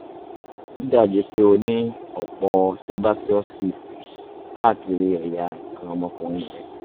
ó dàbíi pé o ní ọ̀pọ̀ sebaceous cysts káàkiri ẹ̀yà nǹkan ọmọkùnrin rẹ